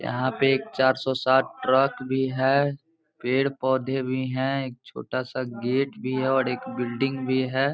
यहाँ पे एक चार सौ सात ट्रक भी है पेड़ पौधे भी हैं एक छोटा सा गेट भी है और एक बिल्डिंग भी है।